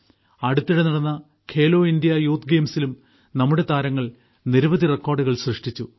അടുത്തിടെ നടന്ന Khelo India youth ഗെയിംസിലും നമ്മുടെ താരങ്ങൾ നിരവധി റെക്കോർഡുകൾ സൃഷ്ടിച്ചു